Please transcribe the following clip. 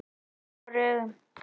Hann er sár í augunum.